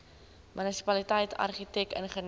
munisipaliteit argitek ingenieur